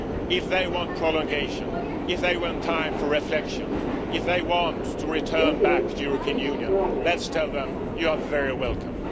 If they want prolongation, if they want time for reflection, if they want to return to the European Union, let us tell them You are very welcome.'